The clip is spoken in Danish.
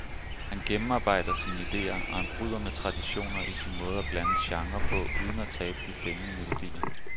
Han gennemarbejder sine ideer, og han bryder med traditioner i sin måde at blande genrer på uden at tabe de fængende melodier.